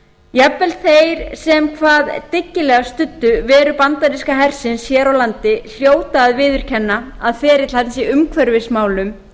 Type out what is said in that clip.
jafnvel þeir sem hvað dyggilegast studdu veru bandaríska hersins hér á landi hljóta að viðurkenna að ferill hans í umhverfismálum